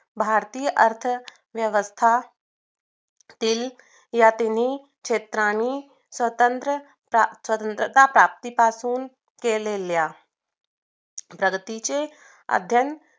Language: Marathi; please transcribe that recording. भारतीय अर्थव्यवस्था तील या तिन्ही क्षेत्रांनी स्वतंत्र च समजली जातात ती पासून केलेल्या धरतीची अद्यान